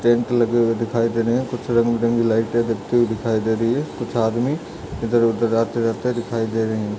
Tent लगे हुए दिखाई दे रहे हैं। कुछ रंग बिरंगी लाइटे जलती हुई दिखाई दे रही हैं। कुछ आदमी इधर-उधर आते-जाते दिखाई दे रहे हैं।